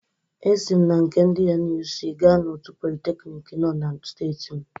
Esi m na nke ndị NUC gaa na otu politeknik nọ na steeti m.